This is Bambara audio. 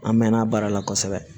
An mɛnna baara la kosɛbɛ